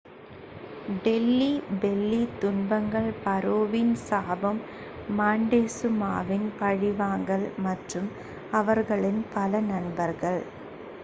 Delhi belly துன்பங்கள் பாரோவின் சாபம் மாண்டெசுமாவின் பழிவாங்கல் மற்றும் அவர்களின் பல நண்பர்கள்